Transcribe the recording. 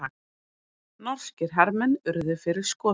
Norskir hermenn urðu fyrir skotum